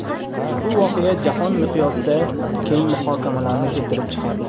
Ushbu voqea jahon miqyosida keng muhokamalarni keltirib chiqardi.